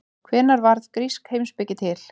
Hvenær varð grísk heimspeki til?